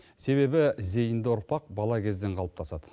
себебі зейінді ұрпақ бала кезден қалыптасады